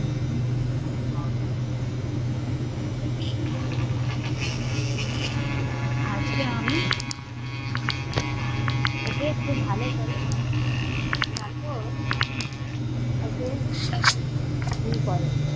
আজকে আমি ওকে খুব ভালো করে মজা চাকাব তারপর ওকে